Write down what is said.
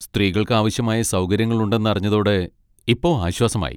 സ്ത്രീകൾക്ക് ആവശ്യമായ സൗകര്യങ്ങൾ ഉണ്ടെന്ന് അറിഞ്ഞതോടെ ഇപ്പൊ ആശ്വാസമായി.